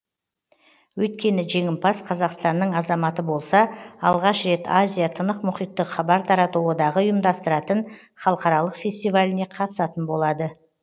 өйткені жеңімпаз қазақстанның азаматы болса алғаш рет азия тынық мұхиттық хабар тарату одағы ұйымдастыратын халықаралық фестиваліне қатысатын болады